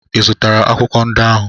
Ị zụtara akwụkwọ ndị ahụ?